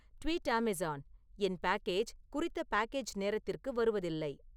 tweet Amazon என் package குறித்த package நேரத்திருக்கு வருவதில்லை